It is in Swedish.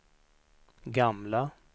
gamla